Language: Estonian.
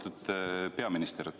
Lugupeetud peaminister!